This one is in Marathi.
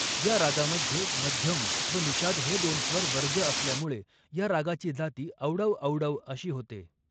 या रागामध्ये मध्यम व निषाद हे दोन स्वर वर्ज्य असल्यामुळे या रागाची जाती औडव औडव अशी होते.